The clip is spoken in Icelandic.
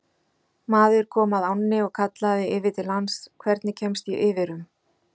Maður kom að ánni og kallaði yfir til hans: Hvernig kemst ég yfir um?